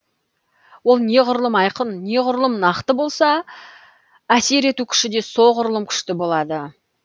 ол неғұрлым айқын неғұрлым нақты болса әсер ету күші де соғұрлым күшті болады